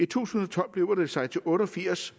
tusind og tolv beløber det sig til otte og firs